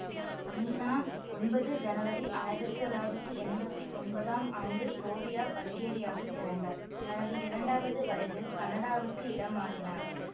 நீனா ஒன்பது ஜனவரி ஆயிரத்தி தொள்ளாயிரத்தி எம்பத்தி ஒன்பதாம் ஆண்டு சோஃவியா பல்கேரியாவில் பிறந்தார் தனது இரண்டாவது வயதில் கனடாவுக்கு இடம் மாறினார்